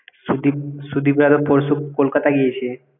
সুদীপ সুদিপরাও পরশু কলকাতা গিয়েছে